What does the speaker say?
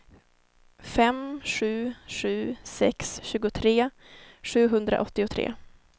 fem sju sju sex tjugotre sjuhundraåttiotre